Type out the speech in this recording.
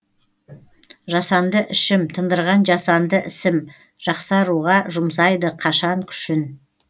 жасанды ішім тындырған жасанды ісім жақсаруға жұмсайды қашан күшін